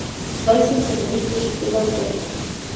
Zdaj sem se v njih počutila udobno.